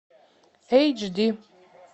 эйч ди